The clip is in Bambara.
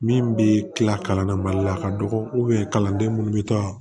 Min bɛ tila kalan na mali la a ka dɔgɔ kalanden minnu bɛ taa